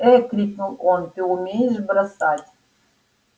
ээ крикнул он ты умеешь бросать